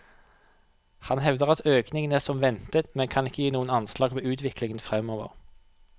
Han hevder at økningen er som ventet, men kan ikke gi noe anslag på utviklingen fremover.